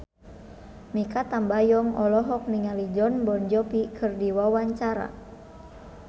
Mikha Tambayong olohok ningali Jon Bon Jovi keur diwawancara